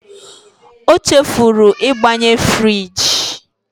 O chefuru ịgbanye friji.